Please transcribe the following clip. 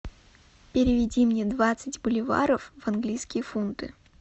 переведи мне двадцать боливаров в английские фунты